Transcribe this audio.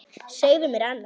Segðu mér annars.